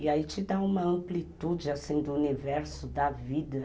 E aí te dá uma amplitude, assim, do universo, da vida.